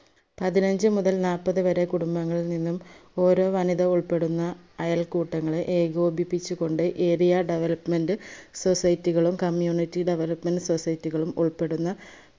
പതിനഞ്ചു മുതൽ നാല്പത് വരെ കുടുംബങ്ങൾ നിന്നും ഓരോ വനിത ഉൾപ്പെടുന്ന അയൽക്കൂട്ടങ്ങളെ ഏകോപിപ്പിച്ചു കൊണ്ട് area development society കളും community development society കളും ഉൾപ്പെടുന്ന